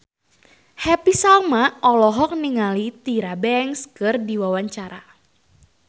Happy Salma olohok ningali Tyra Banks keur diwawancara